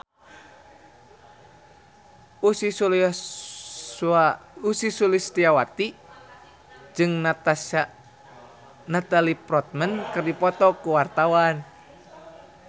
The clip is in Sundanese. Ussy Sulistyawati jeung Natalie Portman keur dipoto ku wartawan